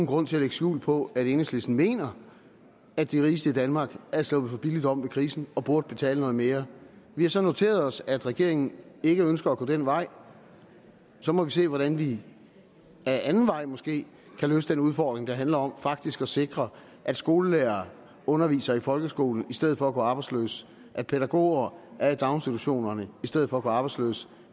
grund til at lægge skjul på at enhedslisten mener at de rigeste i danmark er sluppet for billigt om ved krisen og burde betale noget mere vi har så noteret os at regeringen ikke ønsker at gå den vej så må vi se hvordan vi ad anden vej måske kan løse den udfordring der handler om faktisk at sikre at skolelærere underviser i folkeskolen i stedet for at gå arbejdsløse at pædagoger er i daginstitutionerne i stedet for at gå arbejdsløse